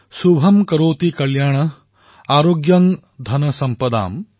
শুভম কৰোতি কল্যাণং আৰোগ্যং ধনসম্পদাম